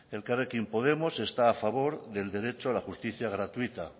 elkarrekin podemos está a favor del derecho a la justicia gratuita